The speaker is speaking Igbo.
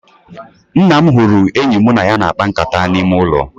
Nna m hụrụ enyi mụ na ya na-akpa nkata n'ime ụlọ